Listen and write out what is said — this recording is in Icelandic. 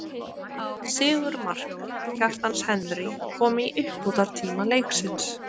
Sigurmark, Kjartans Henry kom í uppbótartíma leiksins.